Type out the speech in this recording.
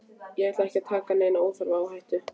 Ég ætla ekki að taka neina óþarfa áhættu,